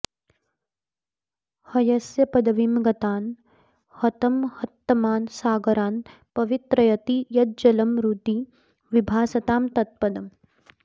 हयस्य पदवीं गतान् हतमहत्तमान् सागरान् पवित्रयति यज्जलं हृदि विभासतां तत्पदम्